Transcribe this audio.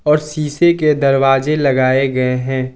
और शीशे के दरवाजे लगाए गए हैं।